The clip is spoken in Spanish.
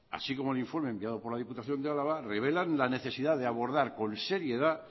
así como el informe enviado por la diputación de álava revelan la necesidad de abordar con seriedad